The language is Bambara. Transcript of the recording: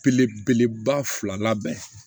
Belebeleba fila bɛ